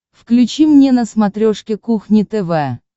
включи мне на смотрешке кухня тв